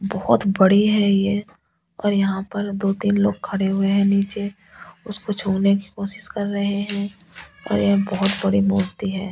बहुत बड़े है ये और यहाँ पर दो तीन लोग खड़े हुए है नीचे उसको छोड़ने की कोशिश कर रहे है और बहुत बड़ी मूर्ति है ।